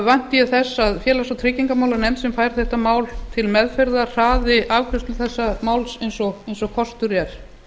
vænti ég þess að félags og tryggingamálanefnd sem fær þetta mál til meðferðar hraði afgreiðslu þessa máls eins og kostur er